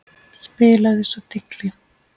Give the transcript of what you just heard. Spilaði svo tígli.